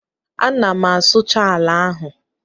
Ana m asụcha ala ahụ